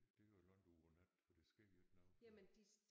Det er jo langt ud på natten for der sker jo ikke noget før